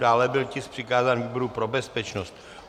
Dále byl tisk přikázán výboru pro bezpečnost.